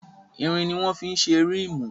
Irin ni wọ́n fí ṣe rímù.